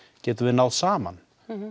getum við náð saman